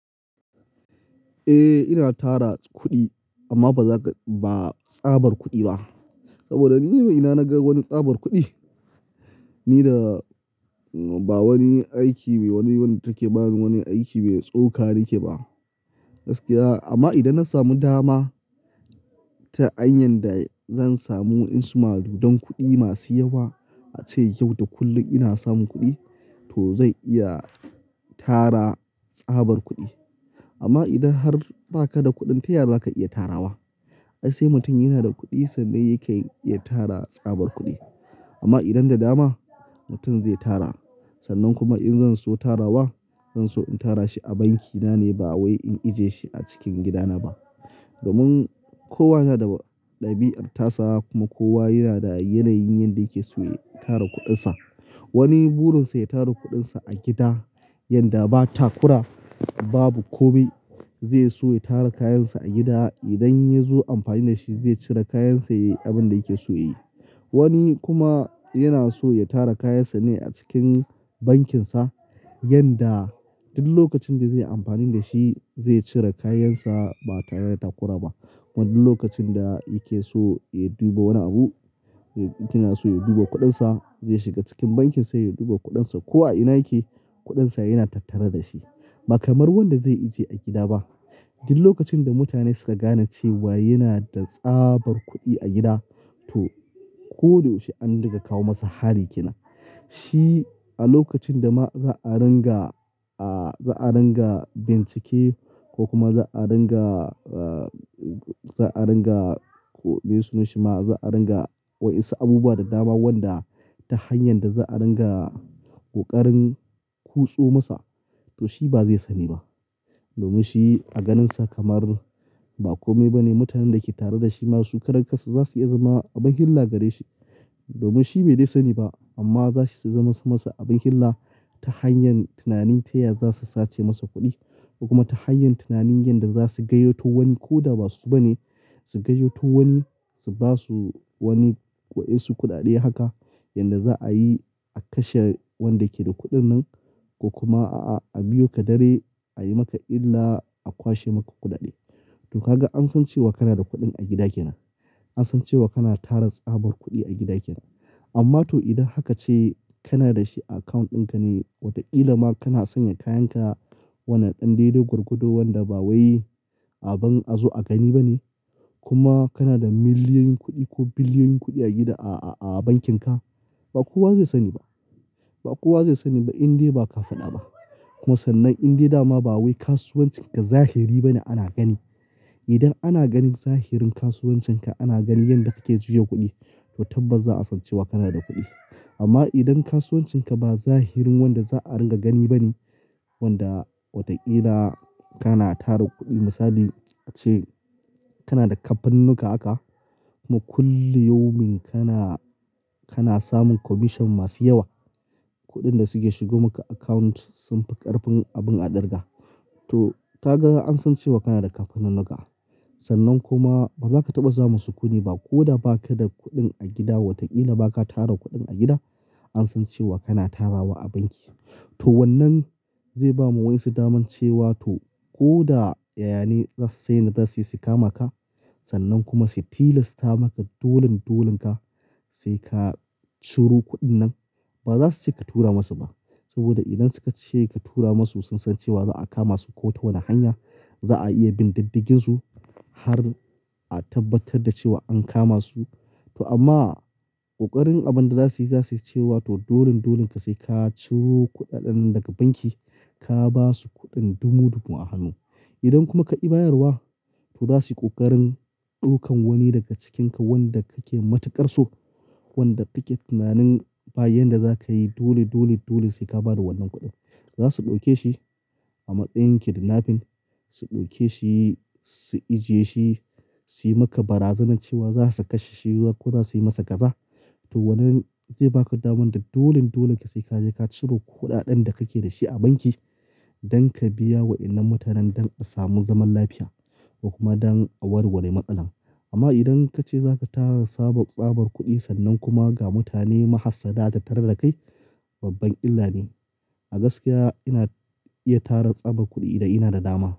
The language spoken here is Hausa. Eh, ina tara kuɗi amma ba za ka, ba tsabar kuɗi ba. Saboda ni mai ina naga wani tsabar kuɗi ni da ba wani aiki me wani, wani take bani wani aiki mai tsoka nike ba. Gaskiya amma idan na samu dama ta hanyan da zan samu insumadu don kuɗi masu yawa ace yau da kullum ina samun kuɗi to zai iya tara tsabar kuɗi. Amma idan har ba ka da kuɗin taya za ka iya tarawa? Ai sai mutum yana da kuɗi sannan yake iya tara tsabar kuɗi. Amma idan da dama mutum zai tara sannan kuma in zan so tarawa, zan so in tara shi a banki na ne ba wai in ije shi a cikin gida na ba. Domin kowa yana da ɗabi'ar tasa kuma kowa yana da yanayin yanda yake so ya tara kuɗin sa. Wani burin sa ya tara kuɗin sa a gida yanda ba takura babu kome zai so ya tara kayan sa a gida. Idan ya zo amfani da shi zai cire kayan sa ya yi abin da yake so ya yi. Wani kuma yana so ya tara kayan sa ne a cikin bankin sa yanda duk lokacin da zai yi amfani da shi zai cire kayan sa ba tare da takura ba. Wannan lokacin da yake so ya duba wani abu yana so ya duba kuɗin sa zai shiga cikin bankin sa ya duba kuɗin sa. Ko a ina yake kuɗin sa yana tattare da shi ba kamar wanda zai ije a gida ba. Duk lokacin da mutane suka gane cewa yana da tsabar kuɗi a gida to ko da yaushe an riga kawo masa hari ke nan. Shi a lokacin da ma za a ranga, a, za a ranga bincike ko kuma za a ranga, a, za a ranga ko me sunan shi ma za a ranga wa yasu abubuwa da dama wanda ta hanyar da za a ranga ƙoƙarin kutso masa to shi ba zai sani ba. Domin shi a ganin sa kamar ba kome ba ne mutanen da ke tare da shi ma su karan kansa za su iya zama abin hilla gare shi. Domin shi bai dai sani ba amma zasu iya zama sa masa abin hilla ta hanyar tunanin taya za su sace masa kuɗi. Kuma ta hanyar tunanin yanda za su gayyato wani ko da ba su ba ne su gayyato wani su basu wani wasu kuɗaɗe haka yanda za a yi a kashe wanda ke da kuɗin nan. Ko kuma a, a biyo ka dare a yi maka illa a kwashe maka kuɗaɗe. To ka ga an san cewa kana da kuɗin a gida ke nan. An san cewa kana tara tsabar kuɗi a gida kenan. Amma to idan haka ce kana da shi a account ɗin ka ne, watakila ma kana sanya kayan ka wannan ɗan daido gwargado wanda ba wai abin a zo a gani ba ne. Kuma kana da miliyoyin kuɗi ko biliyoyin kuɗi a gida a, a, a bankin ka. Ba kowa zai sani ba. Ba kowa zai sani ba in dai ba ka faɗa ba. Kuma sannan in dai dama ba wai kasuwancin ka zahiri bane ana gani. Idan ana ganin zahirin kasuwancin ka ana ganin yanda kake juya kuɗi to tabbas za a san cewa kana da kuɗi. Amma idan kasuwancin ka ba zahirin wanda za a ringa gani ba ne wanda watakila kana tara kuɗi misali ace kana da kamfaninuka haka kuma kulliyumin kana, kana samun commission masu yawa. Kuɗin da suke shigo maka account sun fi ƙarfin abin a ɗirga. To ka ga an san cewa kana da kamfaninuka. Sannan kuma ba za ka taɓa samu sukunni ba ko da ba ka da kuɗin a gida watakila ba ka tara kuɗin a gida an san cewa kana tarawa a banki. To wannan zai bamu wayansu daman cewa to ko da, ya'yani za su san yan da za su yi sukama ka sannan kuma su tilasta maka dolin dolin ka sai ka ciro kuɗin nan ba za su ce ka tura masu ba. Saboda idan suka ce ka tura masu sun san cewa za a kama su ko ta wani hanya. Za a iya bindidigginsu har a tabbatar da cewa an kama su. To amma ƙoƙarin abin da za su yi za su yi cewa to dolin dolin ka sai ka ciro kuɗaɗen daga banki ka basu kuɗin dumu dumu a hannu. Idan kuma ka ki bayarwa to za su yi ƙoƙarin ɗaukan wani daga cikin ka wanda kake matuƙar so. Wanda kake tunanin ba yanda za ka yi dole, dole, dole sai ka bada wannan kuɗin. Za su ɗauke shi a matsayin kidinapin su ɗauke shi su ijiye shi su yi maka barazanan cewa za su kashe shi ko za su yi masa gaza. To wannan zai ba ka damar da dolin dolin ka sai ka je ka ciro kuɗaɗen da kake da shi a banki don ka biya wayannan mutanen don a samu zaman lafiya ko kuma don a warware matsalan. Amma idan ka ce za ka tara tsabar, tsabar kuɗi sannan kuma ga mutane mahassada da tarer da kai babban illa ne. A gaskiya ina iya tara tsabar kuɗi idan ina da dama.